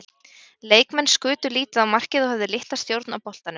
Leikmenn skutu lítið á markið og höfðu litla stjórn á boltanum.